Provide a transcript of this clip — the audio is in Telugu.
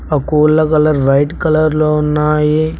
ఆ కోళ్ల కలర్ వైట్ కలర్ లో ఉన్నాయి.